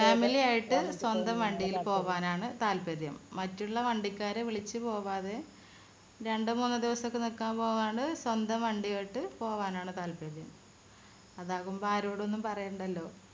family യിട്ട് സ്വന്തം വണ്ടിയിൽ പോകാനാണ് താല്പര്യം മറ്റുള്ള വണ്ടിക്കാരെ വിളിച്ചു പോകാതെ രണ്ട് മൂന്ന് ദിവസമൊക്കെ നിക്കാൻ പോവാണ് സ്വന്തം വണ്ടി പോകാനാണ് താല്പര്യം അതാകുമ്പോ ആരോടും ഒന്നും പറയണ്ടല്ലോ